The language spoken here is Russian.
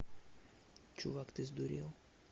чувак ты сдурел